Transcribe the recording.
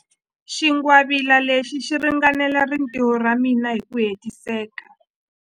Xingwavila lexi xi ringanela rintiho ra mina hi ku hetiseka.